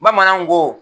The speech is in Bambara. Bamananw ko